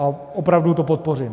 A opravdu to podpořím.